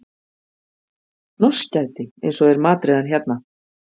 Hnossgæti eins og þeir matreiða hann hérna